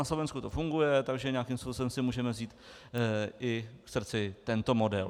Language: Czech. Na Slovensku to funguje, takže nějakým způsobem si můžeme vzít i k srdci tento model.